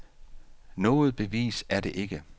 Noget bevis er det ikke.